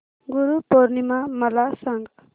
गुरु पौर्णिमा मला सांग